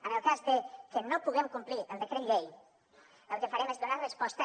en el cas de que no puguem complir el decret llei el que farem és donar resposta